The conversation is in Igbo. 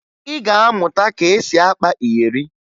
Ị ga-amụta ka e si akpa iyeri